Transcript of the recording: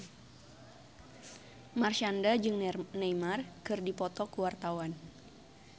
Marshanda jeung Neymar keur dipoto ku wartawan